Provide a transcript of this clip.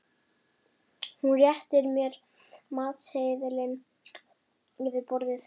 Hún réttir mér matseðilinn yfir borðið.